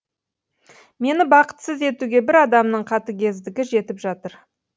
мені бақытсыз етуге бір адамның қатыгездігі жетіп жатыр